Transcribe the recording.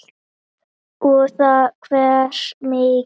Og þá hversu mikið.